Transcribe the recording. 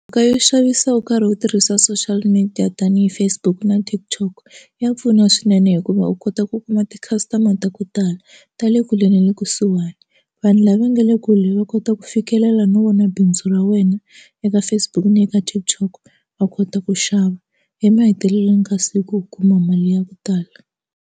Mhaka yo xavisa u karhi u tirhisa social media tanihi Facebook na TikTok ya pfuna swinene hikuva u kota ku kuma ti customer ta ku tala ta le kule na le kusuhani vanhu lava nga le kule va kota ku fikelela no vona bindzu ra wena eka Facebook ni eka TikTok va kota ku xava emahetelelweni ka siku u kuma mali ya ku tala.